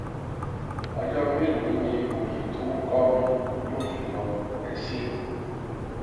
ọjọ mélòó ni òòyì tó nh kọ mi yóò fi lọ ẹ ṣé